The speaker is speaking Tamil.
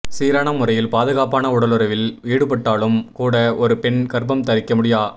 சீரான முறையில் பாதுகாப்பான உடலுறவில் ஈடுபட்டாலும் கூட ஒரு பெண் கர்ப்பம் தரிக்க முடியா